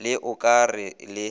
le o ka re le